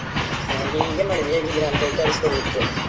ನಾನ್ ಹೀಗೆ ಮಾಡಿದ್ದು ಹೇಗಿದ್ದೀರಾ ಅಂತ ವಿಚಾರ್ಸಿಕೊಳ್ಳಿಕೆ.